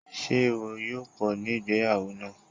Ṣé èrò yó pọ̀ ní ìgbéyàwó náà?